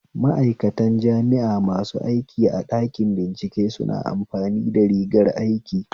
Ma'aikantan jami'a masu aiki a ɗanki bincike suna amfani da rigar aiki